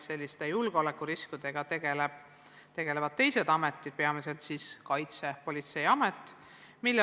Selliste julgeolekuriskidega tegelevad teised ametid, peamiselt Kaitsepolitseiamet.